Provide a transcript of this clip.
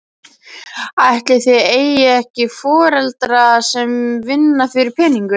Ætli þið eigið ekki foreldra sem vinna fyrir peningum?